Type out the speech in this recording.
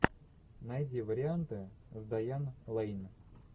найди варианты с дайан лейн